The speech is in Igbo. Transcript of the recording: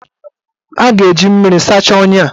A ga-eji mmiri sachaa ọnya a.